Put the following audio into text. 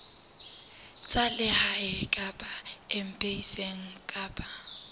tsa lehae kapa embasing kapa